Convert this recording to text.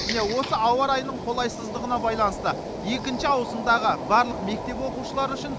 міне осы ауа райының қолайсыздығына байланысты екінші ауысымдағы барлық мектеп оқушылары үшін